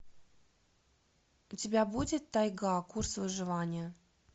у тебя будет тайга курс выживания